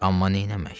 Amma neyləmək?